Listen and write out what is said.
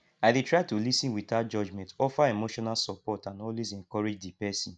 i dey try to lis ten without judgment offer emotional support and always encourage di pesin